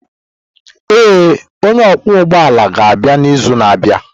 Ee, onye ọkwọ ụgbọ ala ga-abịa n'izu na-abịa.